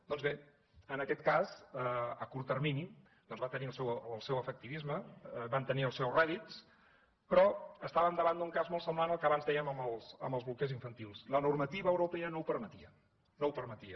doncs bé en aquest cas a curt termini doncs van tenir el seu efectisme van tenir els seus rèdits però estàvem davant d’un cas molt semblant al que abans dèiem dels bolquers infantils la normativa europea no ho permetia no ho permetia